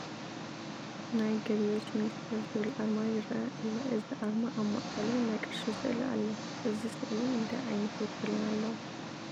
ናይ ገቢዎች ሚኒስተር ዝብል ኣርማ ይርአ ኣሎ፡፡ እዚ ኣርማ ኣብ ማእኸሉ ናይ ቅርሺ ስእሊ ኣሎ፡፡ እዚ ስእሊ እንታይ ዓይነት ውክልና ኣለዎ?